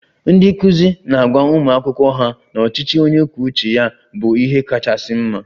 Ndị nkụzi na-agwa ụmụ akwụkwọ ha na ọchịchị onye kwuo uche ya bụ ihe kachasị mma